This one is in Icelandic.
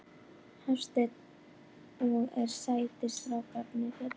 Hafsteinn: Og eru sætir strákarnir hérna?